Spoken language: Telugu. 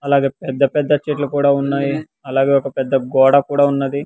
అలాగే పెద్ద పెద్ద చెట్లు కూడా ఉన్నాయి అలాగే ఒక పెద్ద గోడ కూడా ఉన్నది.